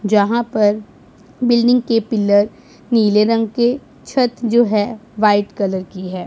जहां पर बिल्डिंग के पिलर नीले रंग के छत जो है वाइट कलर की है।